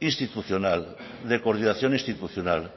institucional de coordinación institucional